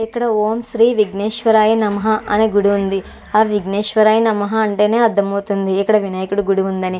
ఇక్కడ ఓం శ్రీ విగ్నశ్వర అ నమః అని గుడి ఉన్నదీ. ఆ విగ్నశ్వర అ నమః అంటేనే అర్ధమవుతుంది ఇక్కడ వినాయకుడి గుడి ఉంది అని.